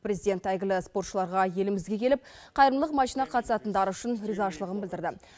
президент әйгілі спортшыларға елімізге келіп қайырымдылық матчіна қатысатындары үшін ризашылығын білдірді